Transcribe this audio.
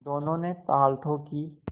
दोनों ने ताल ठोंकी